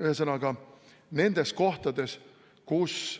Ühesõnaga, nendes kohtades, kus